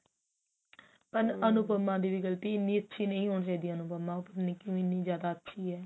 ਪਰ ਅਨੁਪਮਾ ਦੀ ਵੀ ਗਲਤੀ ਹੈ ਇੰਨੀ ਅੱਛੀ ਨਹੀ ਹੋਣੀ ਚਾਹੀਦੀ ਅਨੁਪਮਾ ਉਹ ਪਤਾ ਨੀ ਕਿਵੇਂ ਇੰਨੀ ਜਿਆਦਾ ਅੱਛੀ ਹੈ